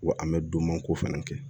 Wa an mɛ donman ko fɛnɛ kɛ